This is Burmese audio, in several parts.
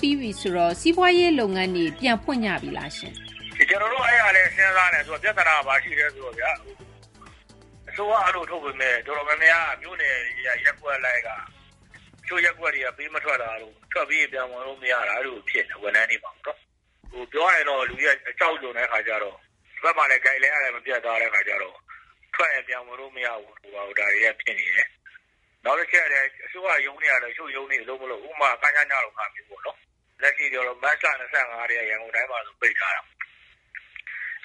ပြီးပြီ ဆိုတော့ စီးပွားရေး လုပ်ငန်းတွေ ပြန်ဖွင့်ကြပြီလားရှင့်။ ကျနော်တို့ အဲဒါလည်း စဉ်းစားနေတာ။ ပြသနာက ဘာရှိလဲ ဆိုတော့ အစိုးရက အဲလို ထုတ်ပေမယ့် အတော်များများ မြို့နယ်တွေက ရပ်ကွက်လိုက်က တချို့ ရပ်ကွက်တွေက ပေး မထွက်တာတို့၊ ထွက်ပြီးရင် ပြန်ဝင်လို့ မရတာတို့ အဲလို ဖြစ်နေတာ။ ဝန်ထမ်းတွေမှာပေါ့နော်။ ပြောရရင်တော့ လူတွေက အကြောက်လွန်တဲ့ အခါကျတော့ ဒီဘက်မှာလည်း Guideline ကလည်း မပြတ်သားတဲ့ အခါကျတော့ ထွက်ရင် ပြန်ဝင်လို့ မရဘူးတို့ ဘာတို့ ဒါတွေက ဖြစ်နေတယ်။ နောက်တချက်က အစိုးရ ရုံးတွေကလည်း တချို့ရုံးတွေ အလုပ်မလုပ်ဘူး။ ဥပမာ ကညန လို ဟာမျိုးပေါ့နော်။ လက်ရှိဆို မတ်လ ၂၅ ကတည်းက ရန်ကုန်တိုင်းမှာ ပိတ်ထားတာ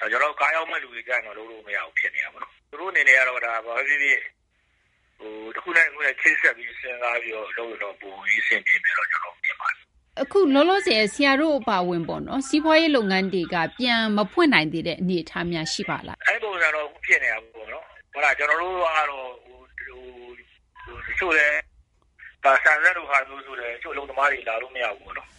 ။ ကျနော်တို့ ကားရောင်းတဲ့ လူတွေကျ လုပ်လို့ မရဘူး ဖြစ်နေတာပေါ့နော်။ သူတို့ အနေနဲ့ တခုနဲ့ တခု ချိတ်ဆက်ပြီး စဉ်းစားပြီး လုပ်ရင်တော့ ပိုပြီးတော့ အဆင်ပြေမယ်လို့ ကျနော်တို့ ထင်ပါတယ်။ အခု လောလောဆယ် ဆရာတို့ အပါအဝင် စီးပွားရေး လုပ်ငန်းတွေက ပြန်မဖွင့်နိုင်သေးတဲ့ အနေအထားများ ရှိပါလား။ အဲဒီ ပုံစံတော့ အခု ဖြစ်နေတာပေါ့နော်။ ကျနော်တို့ကတော့ တချို့လည်း ဆန်စက်လို ဟာမျိုးဆိုလည်း တချို့ အလုပ်သမားတွေ လာလို့ မရဘူးပေါ့နော်။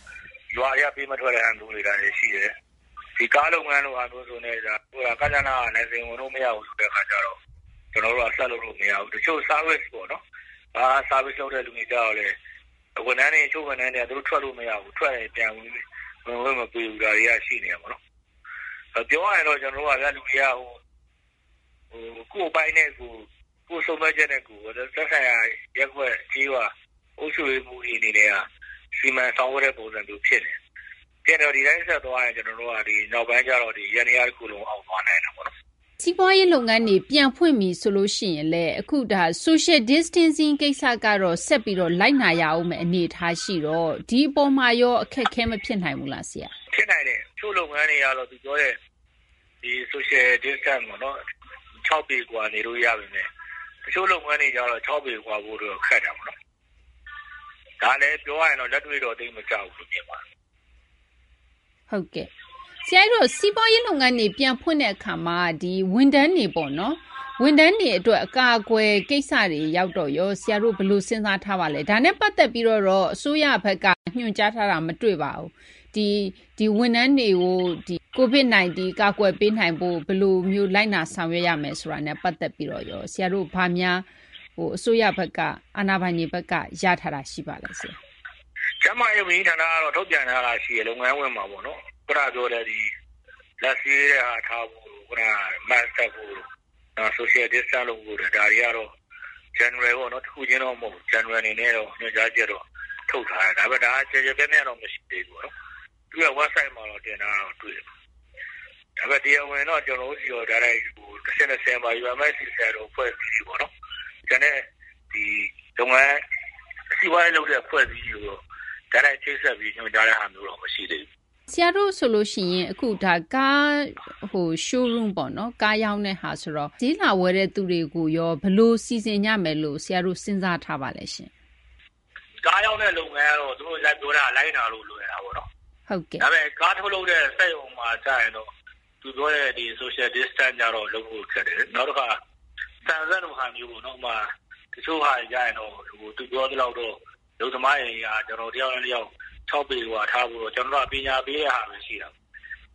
ရွာထဲက ပေးမထွက်တာမျိုး ရှိတယ်။ ကားလုပ်ငန်းဆိုလည်း ကညနက လိုင်စင်ဝင်လို့ မရဘူးဆိုတဲ့ အခါကျတော့ ကျနော်တို့က ဆက်လုပ်လို့ မရဘူး။ တချို့ Service လုပ်တဲ့လူတွေကျတော့လည်း တချို့ ဝန်ထမ်းတွေက သူတို့ ထွက်လို့ မရဘူး။ ထွက်ရင် ပြန်ဝင်ခွင့် မပေးဘူး။ ဒါတွေက ရှိနေတာပေါ့နော်။ ပြောရရင်တော့ လူတွေက ကိုယ့်အပိုင်းနဲ့ကိုယ်၊ ကိုယ့်ဆုံးဖြတ်ချက်နဲ့ကိုယ် သက်ဆိုင်ရာ ရပ်ကွက် ကျေးရွာ အုပ်ချုပ်ရေးမှူးတွေ အနေနဲ့က စီမံဆောင်ရွက်တဲ့ ပုံစံမျိုး ဖြစ်နေတယ်။ ဖြစ်နေတော့ ဒီတိုင်း ဆက်သွားရင် ကျနော်တို့က ဒီ နောက်ပိုင်းရောက်ရင် ယန္တရား တခုလုံး အောက်သွားနိုင်တာပေါ့နော်။ စီးပွားရေး လုပ်ငန်းတွေ ပြန်ဖွင့်ပြီ ဆိုရင်လည်း အခုက Social Distancing ကိစ္စကတော့ ဆက်ပြီး လိုက်နာရမယ့် အနေအထား ရှိတော့ ဒီအပေါ်မှာရော အခက်အခဲ မဖြစ်နိုင်ဘူးလား။ ဖြစ်နိုင်တယ်။ တချို့ လုပ်ငန်းတွေက ပြောတဲ့ Social Distance - ၆ ပေကွာ နေလို့ ရပေမယ့် တချို့ကျ ၆ ပေကွာဖို့ ခက်တာပေါ့နော်။ ဒါလည်း ပြောရရင်တော့ လက်တွေ့တော့ သိပ်မကျဘူးလို့ မြင်ပါတယ်။ ဟုတ်ကဲ့။ ဆရာ အဲဒီတော့ စီးပွားရေး လုပ်ငန်းတွေ ပြန်ဖွင့်တဲ့ အခါမှာ ဝန်ထမ်းတွေ အတွက် အကာအကွယ် ကိစ္စတွေ ရောက်တော့ရော ဆရာတို့ ဘယ်လို စဉ်းစား ထားပါလဲ။ ဒါနဲ့ ပတ်သက်ပြီးတော့ တော့ အစိုးရဘက်က ညွှန်ကြားထားတာ မတွေ့ပါဘူး။ ဝန်ထမ်းတွေကို COVID 19 ကာကွယ်ပေးနိုင်ဖို့ ဘယ်လိုမျိုး လိုက်နာ ဆောင်ရွက်ရမယ် ဆိုတာနဲ့ ပတ်သက်ပြီးတော့ ဆရာတို့ ဘာများ အစိုးရဘက်က အာဏာပိုင်တွေဘက်က ရထားတာ ရှိပါလဲ။ ကျန်းမာရေး ဝန်ကြီးဌာနက တော့ ထုတ်ပြန်ထားတာ ရှိတယ်။ လုပ်ငန်းခွင်မှာပေါ့နော် ခုနပြောတဲ့ လက်ဆေးတဲ့ဟာ ထားဖို့တို့ ခုနက Mask တပ်ဖို့တို့ Social Distance လုပ်ဖို့တို့ ဒါတွေ ကတော့ General ပေါ့နော် တခုချင်းတော့ မဟုတ်ဘူး General အနေနဲ့ ညွှန်ကြားချက်တော့ ထုတ်ထားတယ်။ ဒါကလည်း ကျယ်ကျယ်ပြန့်ပြန့်တော့ မရှိသေးဘူး။ သူ့ရဲ့ ဝက်ဘ်ဆိုက်မှာ တင်ထားတာတော့ တွေ့တယ်။ ဒါပေမယ့် တရားဝင် တော့ ကျနော်တို့ဆီကို တိုက်ရိုက်ပေါ့ UMFCCI လို အဖွဲ့ပေါ့ ကျန်တဲ့ စီးပွားရေး လုပ်တဲ့ အဖွဲ့တွေ ဆီတော့ တိုက်ရိုက် ချိတ်ဆက်ပြီး ညွှန်ကြားတဲ့ဟာတော့ မရှိသေးဘူး။ ဆရာတို့ ဆိုရင် Car Showroom ဆိုတော့ ကားရောင်းတာ ဆိုတော့ ဈေးလာဝယ်တဲ့သူတွေကိုရော ဘယ်လို စီစဉ်ကြမယ်လို့ ဆရာတို့ စဉ်းစားထားပါလဲ။ ကားရောင်းတဲ့ လုပ်ငန်းကတော့ သူတို့ ပြောတာကို လိုက်နာရတာ လွယ်တာပေါ့။ ဒါပေမယ့် ကားထုတ်လုပ်တဲ့ စက်ရုံမှာ ကျရင်တော့ သူပြောတဲ့ Social Distance ကျတော့ လုပ်ဖို့ ခက်တယ်။ နောက်တခါ ဆန်စက်လို ဟာမျိုးပေါ့နော်။ တချို့ဟာတွေက သူပြောသလောက်တော့ အလုပ်သမားတွေက တယောက်နဲ့ တယောက် ၆ ပေကွာထားဖို့တော့ ကျနော်တို့က ပညာပေးတဲ့ဟာဘဲ ရှိတာပေါ့။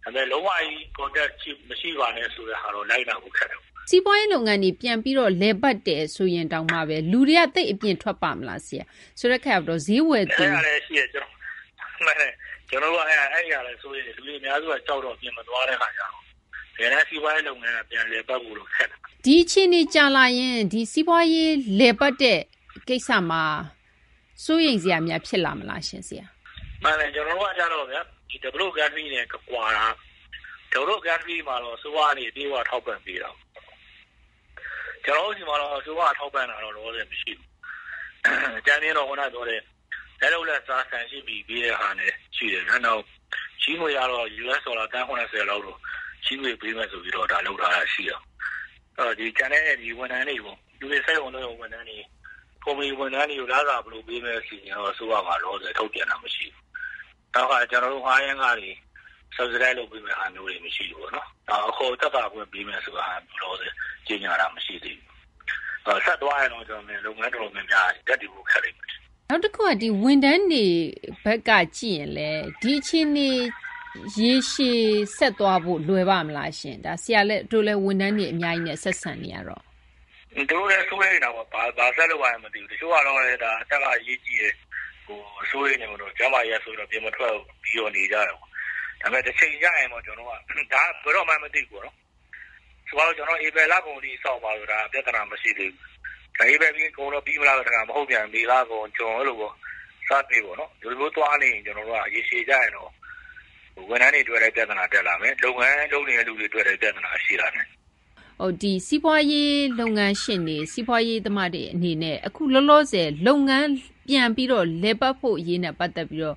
ဒါပေမယ့် လုံးဝကြီး ထိတွေ့မှု မရှိပါနဲ့ ဆိုတဲ့ဟာတော့ လိုက်နာဖို့ ခက်တယ်။ စီးပွားရေး လုပ်ငန်းတွေ ပြန်ပြီးတော့ လည်ပတ်တယ် ဆိုရင်တောင်မှဘဲ လူတွေက သိပ်အပြင်ထွက်ပါ့မလား ဆရာ။ ဆိုတော့ ဈေးဝယ်သူရော... အဲဒါလည်း ရှိတယ်။ မှန်တယ်။ ကျနော်တို့က အဲဒါလည်း စိုးရိမ်တယ်။ လူတွေ အများစုက ကြောက်တော့ အပြင်မသွားကြဘူး။ တကယ်တန်း စီးပွားရေး လုပ်ငန်းက ပြန်လည်ပတ်ဖို့တော့ ခက်တယ်။ ဒီအခြေအနေ ကြာလာရင် စီးပွားရေး လည်ပတ်တဲ့ ကိစ္စမှာ စိုးရိမ်စရာများ ဖြစ်လာမလားရှင့် ဆရာ။ မှန်တယ် ကျနော်တို့က ကျတော့ဗျာ ဖွံ့ဖြိုးပြီး နိုင်ငံတွေနဲ့ ကွာတာက ဖွံ့ဖြိုးပြီး နိုင်ငံတွေကတော့ အစိုးရ ကနေ အပြည့်အ၀ ထောက်ပံ့ပေးတာပေါ့။ ကျနော်တို့ဆီမှာတော့ အစိုးရက ထောက်ပံ့တာ လောလောဆယ် မရှိဘူး။ အကြမ်းဖျဉ်းတော့ ခုန ပြောတဲ့ လက်လုပ်လက်စား ဆန် ၈ ပြည် ပေးတဲ့ဟာ ရှိတယ်ဗျာ။ နောက် ချေးငွေကတော့ အမေရိကန် ဒေါ်လာ သန်း ၇၀ လောက် ချေးငွေ ပေးမယ်ဆိုပြီး ဒါ လုပ်ထားတာ ရှိတယ်။ ကျန်တဲ့ ဝန်ထမ်းတွေပေါ့ ၊ စက်ရုံ အလုပ်ရုံ ဝန်ထမ်းတွေ ၊ ကုမ္ပဏီ ဝန်ထမ်းတွေကို လစာဘယ်လို ပေးမလဲ ဆိုတဲ့ အစီအစဉ်တော့ အစိုးရမှာ လောလောဆယ် ထုတ်ပြန်တာ မရှိဘူး။ နောက် တခါ ကျနော်တို့ ငှားယမ်းခတွေ တစိတ်တပိုင်း ကျခံပေးမယ့်ဟာမျိုးတွေ မရှိဘူးပေါ့နော်။ နောက် အခွန်သက်သာခွင့် ပေးမယ့်ဟာမျိုး လောလောဆယ် ကြေညာတာ မရှိသေးဘူး။ ဆက်သွားရင်တော့ ကျနော်ထင်တယ် လုပ်ငန်း တော်တော်များများ ရပ်တည်ဖို့ ခက်လိမ့်မယ်လို့ ထင်တယ်။ နောက်တခုက ဝန်ထမ်းတွေ ဘက်က ကြည့်ရင်လည်း ဒီအခြေအနေ ရေရှည် ဆက်သွားဖို့ လွယ်ပါ့မလားရှင့်။ ဆရာတို့လည်း ဝန်ထမ်းတွေ အများကြီးနဲ့ ဆက်ဆံနေရတော့။ သူတို့လည်း စိုးရိမ်တာပေါ့။ ဘာဆက်လုပ်ရမှန်း မသိဘူး။ တချို့ကလည်း ဒါ အသက်က အရေးကြီးတယ်။ စိုးရိမ်တယ်ပေါ့နော်။ ကျန်းမာရေးကြောင့် အပြင်မထွက်ဘူး ဆိုပြီး နေကြတယ်ပေါ့။ ဒါပေမယ့် တချိန်ကျရင်ပေါ့ ဒါက ဘယ်တော့မှန်း မသိဘူးပေါ့နော်။ ဆိုပါတော့ ကျနော်တို့ ဧပြီလကုန်ထိ စောင့်ပါဆိုရင် ဒါက ပြသနာ မရှိသေးဘူး။ ဧပြီကုန်ရင် ပြီးမလားဆိုတော့ မဟုတ်ပြန်ဘူး မေ လကုန် ဇွန် အဲလိုပေါ့ တနေ့နေ့ပေါ့နော် ဒီလိုမျိုး သွားနေရင် ကျနော်တို့ ရေရှည်ကျရင်တော့ ဝန်ထမ်းတွေ အတွက်လည်း ပြသနာ တက်လာမယ် လုပ်ငန်း လုပ်နေသူတွေ အတွက်လည်း ပြသနာ ရှိလာနိုင်တယ်။ စီးပွားရေး လုပ်ငန်းရှင်တွေ၊ စီးပွားရေး သမားတွေ အနေနဲ့ အခုလောလောဆယ် လုပ်ငန်း ပြန်ပြီးတော့ လည်ပတ်ဖို့ အရေးနဲ့ ပတ်သက်ပြီးတော့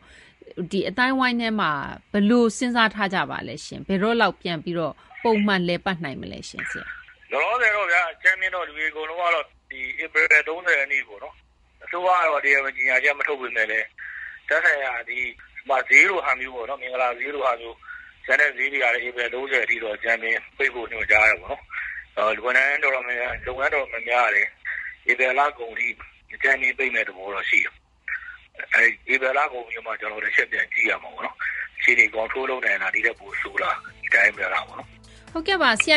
ဒီ အသိုင်းအဝိုင်းထဲမှာ ဘယ်လို စဉ်းစား ထားကြပါလဲ။ ဘယ်တော့လောက် ပြန်ပြီး ပုံမှန် လည်ပတ်နိုင်မလဲ။ လောလောဆယ်တော့ဗျာ အကြမ်းဖျဉ်းတော့ လူတွေ အကုန်လုံးက ဧပြီ ၃၀ ရက်နေ့ ပေါ့နော် အစိုးရကတော့ တရားဝင် ကြေညာချက် မထုတ်ပေမယ့်လည်း သက်ဆိုင်ရာ ဒီ ဈေးလိုဟာမျိုးပေါ့ ဥပမာ မင်္ဂလာဈေးလိုဟာမျိုး ကျန်တဲ့ ဈေးတွေကလည်း ဧပြီ ၃၀ ထိတော့ အကြမ်းဖျဉ်း ပိတ်ဖို့ ညွှန်ကြားတယ်ပေါ့။ လုပ်ငန်း တော်တော်များများကလည်း ဧပြီ လကုန်ထိ အကြမ်းဖျဉ်း ပိတ်မယ့် သဘောတော့ ရှိတယ်။ ဧပြီ လကုန်ပြီးတော့မှ ကျနော်တို့ တချက်ပြန် ကြည့်ရမှာပေါ့နော်။ အခြေအနေ ထိန်းချုပ်နိုင်လား ဒီထက် ပိုဆိုးလား ဒီတိုင်းဘဲလားပေါ့နော်။ ဟုတ်ကဲ့ပါ။ ဆရာ